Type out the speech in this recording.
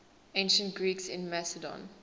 ancient greeks in macedon